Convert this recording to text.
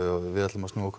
við ætlum að snúa okkur